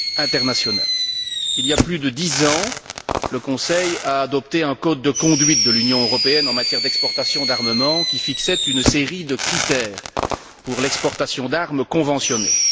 internationale. Il y a plus de dix ans, le Conseil a adopté un code de conduite de l'Union européenne en matière d'exportations d'armements qui fixait une série de critères pour l'exportation d'armes conventionnelles.